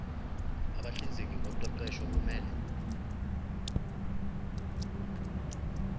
abahlinzeki ngoqeqesho kumele